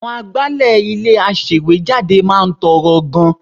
Àwọn agbálẹ̀ ilé-aṣèwéjádé máa ń tọrọ gan-an